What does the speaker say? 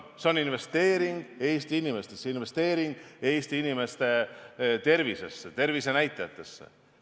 See on investeering Eesti inimestesse, see on investeering Eesti inimeste tervisesse ja nende tervisenäitajatesse.